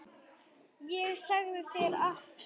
Ég segi þér allt.